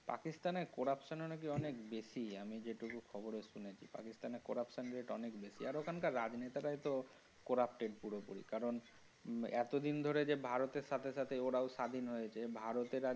পাকিস্তান এ corruption ও নাকি অনেক বেশি আমি যেটুকু খবরে শুনেছি পাকিস্তান এর corruption rate অনেক বেশি। আরে ওখানকার রাজনেতারাই তো corrupted পুরোপুরি কারণ এতদিন ধরে যে ভারতের সাথে সাথে ওরাও স্বাধীন হয়েছে ভারতের আজ।